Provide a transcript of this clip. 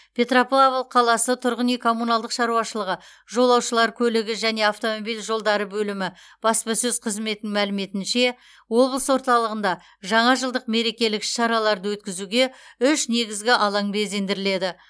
петропавл қаласы тұрғын үй коммуналдық шаруашылығы жолаушылар көлігі және автомобиль жолдары бөлімі баспасөз қызметінің мәліметінше облыс орталығында жаңажылдық мерекелік іс шараларды өткізуге үш негізгі алаң безендіріледі